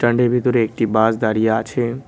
ভিতরে একটি বাস দাঁড়িয়ে আছে।